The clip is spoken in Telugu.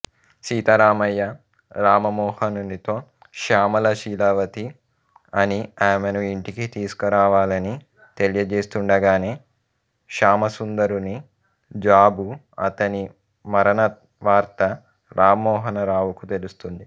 సీతారామయ్య రామమోహనునితో శ్యామల శీలవతి అని ఆమెను ఇంటికి తీసుకురావాలని తెలియజేస్తుండగానే శ్యామసుందరుని జాబు అతని మరణవార్త రామమోహనరావుకు తెలుస్తుంది